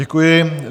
Děkuji.